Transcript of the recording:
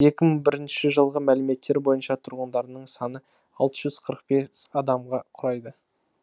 екі мың бірінші жылғы мәліметтер бойынша тұрғындарының саны алты жүз қырық бес адамға құрайды